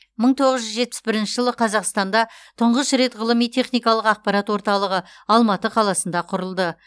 мың тоғыз жүз жетпіс бірінші жылы қазақстанда тұңғыш рет ғылыми техникалық ақпарат орталығы алматы қаласында құрылды